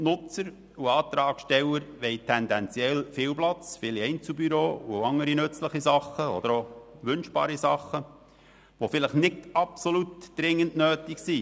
Nutzer und Antragsteller wollen tendenziell viel Platz, viele Einzelbüros und andere nützliche oder wünschbare Sachen, die vielleicht nicht absolut dringend nötig sind.